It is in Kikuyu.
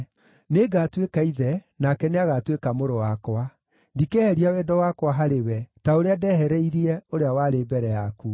Nĩngatuĩka ithe, nake nĩagatuĩka mũrũ wakwa. Ndikeheria wendo wakwa harĩ we, ta ũrĩa ndehereirie ũrĩa warĩ mbere yaku.